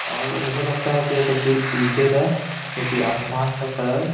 मुझे लगता है कि यह तस्वीर इरिटेड है क्योंकि आसमान का कलर --